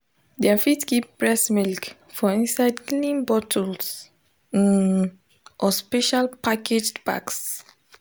dem fit keep breast milk for inside clean bottles um or special packaged bags